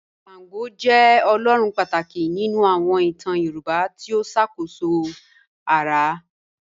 Ṣàngó jẹ́ ọlọ́run pátákì nínu àwọn ìtàn Yorùbá tí ó ṣákóṣó ara.